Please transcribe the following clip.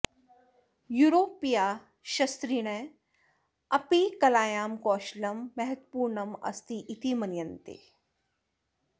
यूरोपीयाः शस्त्रिणः अपि कलायां कौशलं महत्वपूर्णम् अस्ति इति मन्यन्ते